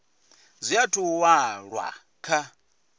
zwi athu u walwa kha